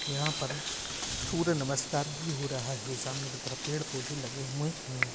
यहाँ प सूर्य नमस्कार भी हो रहा है सामने की तरफ पेड़ पोधे लगे हुए है।